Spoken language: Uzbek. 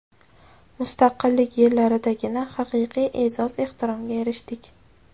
Mustaqillik yillaridagina haqiqiy e’zoz-ehtiromga erishdik.